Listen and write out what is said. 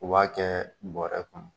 U b'a kɛ buarɛ kɔnɔ